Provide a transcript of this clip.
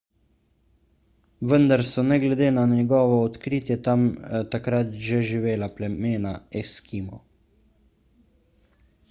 vendar so ne glede na njegovo odkritje tam takrat že živela plemena eskimov